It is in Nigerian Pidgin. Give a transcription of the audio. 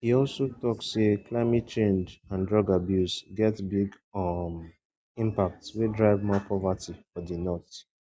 e also tok say climate change and drug abuse get big um impact wey drive more poverty for di north